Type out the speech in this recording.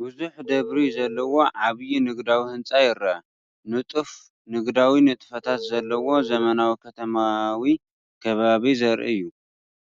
ብዙሕ ደብሪ ዘለዎ ዓቢይ ንግዳዊ ህንጻ ይርአ። ንጡፍ ንግዳዊ ንጥፈታት ዘለዎ ዘመናዊ ከተማዊ ከባቢ ዘርኢ እዩ፡፡